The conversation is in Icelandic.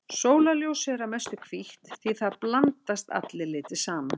Sólarljósið er að mestu hvítt því þar blandast allir litir saman.